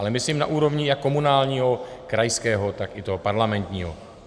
Ale myslím na úrovni jak komunálního, krajského, tak i toho parlamentního.